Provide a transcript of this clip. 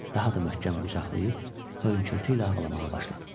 Daha da möhkəm qucaqlayıb, hönkürtü ilə ağlamağa başladım.